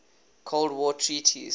cold war treaties